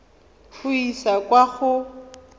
go e isa kwa go